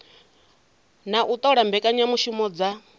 na u ṱola mbekanyamushumo dza